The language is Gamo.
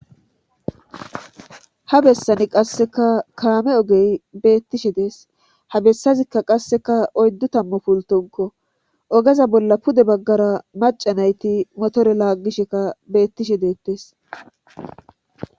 ha bessani qasseka kaame ogey beettishe dees ha bessazikka qasseka oyddu tammu pultonko ogeza bolla pude baggara maca nayti motore laaggisheka beettishe deettees